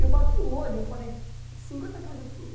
Eu bati o olho, eu falei, cinquenta por cento